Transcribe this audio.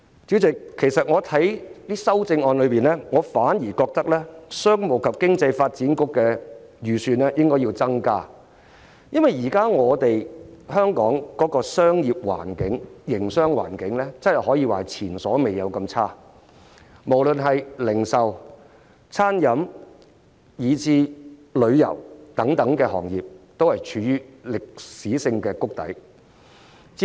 主席，其實我反而覺得應該提出修正案，增加商務及經濟發展局的預算，因為香港現時的營商環境可說是前所未有般惡劣，不論是零售、餐飲，以至旅遊等行業，皆處於歷史性谷底。